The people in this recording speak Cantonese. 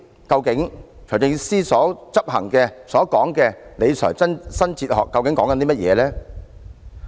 究竟財政司司長所執行的所謂理財新哲學是指甚麼？